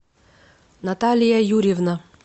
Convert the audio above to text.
наталья юрьевна